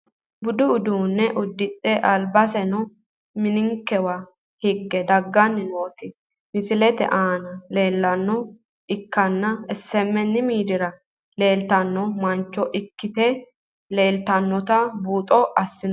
Budu uduune ududhe albaseno ninkewa higge dagani nooti misilete aana leelanoha ikanna SHN miidiira leeltano mancho ikite leeltanotano buuxo asinoomo.